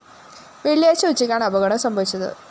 വെള്ളിയാഴ്ച്ച ഉച്ചക്കാണ് അപകടം സംഭവിച്ചത്